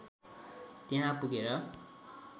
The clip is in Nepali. त्यहाँ पुगेर